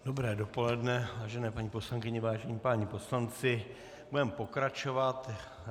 Dobré dopoledne, vážené paní poslankyně, vážení páni poslanci, budeme pokračovat.